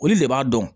Olu de b'a dɔn